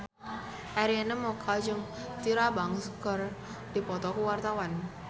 Arina Mocca jeung Tyra Banks keur dipoto ku wartawan